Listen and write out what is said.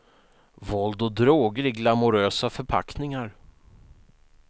Våld och droger i glamorösa förpackningar.